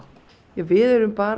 við erum bara